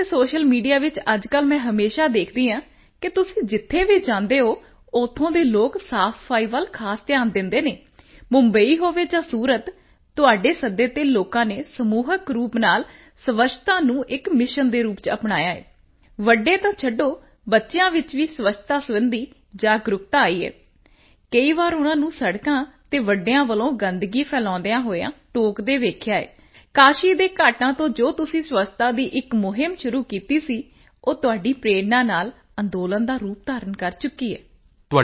ਤੇ ਅਤੇ social media ਵਿੱਚ ਅੱਜਕੱਲ੍ਹ ਮੈਂ ਹਮੇਸ਼ਾ ਦੇਖਦੀ ਹਾਂ ਕਿ ਤੁਸੀਂ ਜਿੱਥੇ ਵੀ ਜਾਂਦੇ ਹੋ ਉੱਥੋਂ ਦੇ ਲੋਕ ਸਾਫਸਫਾਈ ਵੱਲ ਖਾਸ ਧਿਆਨ ਦਿੰਦੇ ਹਨ ਮੁੰਬਈ ਹੋਵੇ ਜਾਂ ਸੂਰਤ ਤੁਹਾਡੇ ਸੱਦੇ ਤੇ ਲੋਕਾਂ ਨੇ ਸਮੂਹਿਕ ਰੂਪ ਨਾਲ ਸਵੱਛਤਾ ਨੂੰ ਇੱਕ ਮਿਸ਼ਨ ਦੇ ਰੂਪ ਵਿੱਚ ਅਪਣਾਇਆ ਹੈ ਵੱਡੇ ਤਾਂ ਛੱਡੋ ਬੱਚਿਆਂ ਵਿੱਚ ਵੀ ਸਵੱਛਤਾ ਸਬੰਧੀ ਜਾਗਰੂਕਤਾ ਆਈ ਹੈ ਕਈ ਵਾਰ ਉਨਾਂ ਨੂੰ ਸੜਕਾਂ ਤੇ ਵੱਡਿਆਂ ਵੱਲੋਂ ਗੰਦਗੀ ਫੈਲਾਉਦਿਆਂ ਹੋਏ ਟੋਕਦੇ ਹੋਏ ਵੇਖਿਆ ਹੈ ਕਾਸ਼ੀ ਦੇ ਘਾਟਾਂ ਤੋਂ ਜੋ ਤੁਸੀਂ ਸਵੱਛਤਾ ਦੀ ਇੱਕ ਮੁਹਿੰਮ ਸ਼ੁਰੂ ਕੀਤੀ ਸੀ ਉਹ ਤੁਹਾਡੀ ਪ੍ਰੇਰਣਾ ਨਾਲ ਅੰਦੋਲਨ ਦਾ ਰੂਪ ਧਾਰਨ ਕਰ ਚੁੱਕੀ ਹੈ